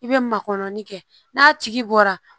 I bɛ makɔnɔni kɛ n'a tigi bɔra